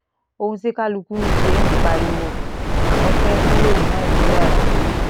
ohun tí kálukú ṣe ń pariwo àwọn fee kúrò ní nàìjíríà rèé